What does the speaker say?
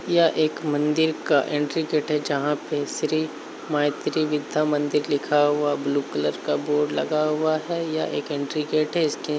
यह एक मंदिर का एंट्री गेट है। जहाँ पे श्री मायत्री विद्या मंदिर लिखा हुआ ब्लू_कलर का बोर्ड लगा हुआ है। यह एक एंट्री_गेट है इसके--